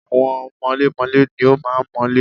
Àwọn mọlémọlé ni ó máa ń mọ́lé.